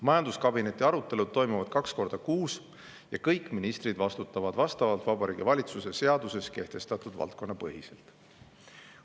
Majanduskabineti arutelud toimuvad kaks korda kuus ja kõik ministrid vastutavad vastavalt Vabariigi Valitsuse seaduses kehtestatud valdkonna põhiselt.